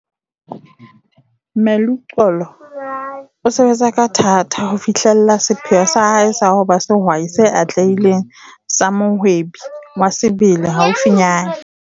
Meluxolo o sebetsa ka thata ho fihlella sepheo sa hae sa ho ba sehwai se atlehileng sa mohwebi wa sebele haufinyana.